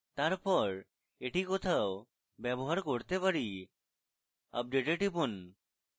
তারপর এটি কোথাও ব্যবহার করতে পারি update we টিপুন